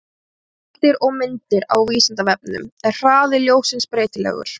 Heimildir og myndir: Á Vísindavefnum: Er hraði ljóssins breytilegur?